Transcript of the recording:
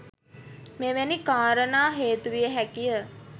මෙවැනි කාරණා හේතුවිය හැකිය.